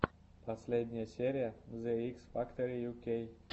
последняя серия зе икс фактор ю кей